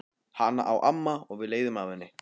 Hana á amma og við leigjum af henni.